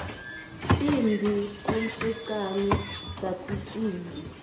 timphi emfecane tatitimbi